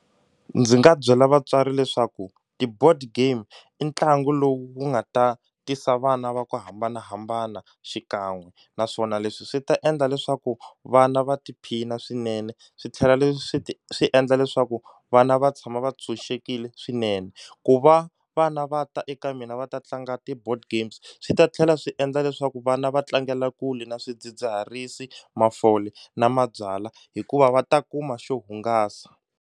Ndzi nga byela vatswari leswaku ti-board game i ntlangu lowu nga ta tisa vana va ku hambanahambana xikan'we naswona leswi swi ta endla leswaku vana va tiphina swinene swi tlhela leswi swi endla leswaku vana va tshama va tshunxekile swinene ku va vana va ta eka mina va ta tlanga ti-board games swi ta tlhela swi endla leswaku vana va tlangela kule na swidzidziharisi mafole na mabyalwa hikuva va ta kuma xo hungasa.